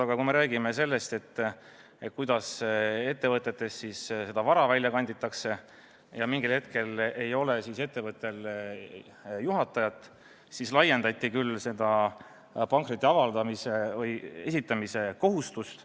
Aga kui me räägime sellest, kuidas ettevõtetest vara välja kanditakse ja et mingil hetkel ei ole ettevõttel juhatajat, siis laiendati küll pankrotiavalduse esitamise kohustust.